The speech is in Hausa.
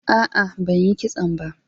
Aa, banyi kitson ba.